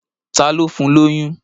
Ta ló fún lóyún?